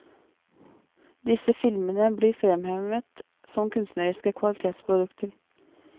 Disse filmene blir fremhevet som kunstneriske kvalitetsprodukter.